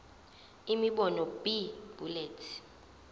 imibono b bullets